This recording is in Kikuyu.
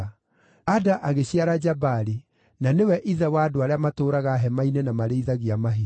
Ada agĩciara Jabali; na nĩwe ithe wa andũ arĩa matũũraga hema-inĩ na marĩithagia mahiũ.